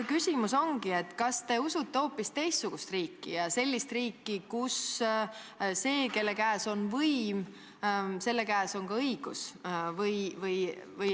Küsimus ongi, kas te usute hoopis teistsugust riiki, sellist riiki, kus selle käes, kelle käes on võim, on ka õigus.